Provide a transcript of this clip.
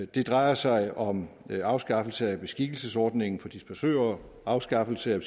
det drejer sig om afskaffelse af beskikkelsesordningen for dispachører afskaffelse af